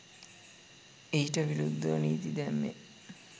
ඊට විරුද්ධව නීති දැම්මේ.